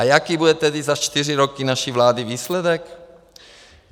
A jaký tedy bude za čtyři roky naší vlády výsledek?